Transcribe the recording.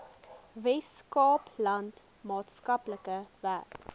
weskaapland maatskaplike werk